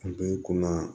A b'i kunna